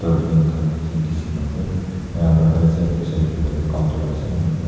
frame khan bi ase kisim kisim ase enakuna right side tae saishey koilae tu counter ase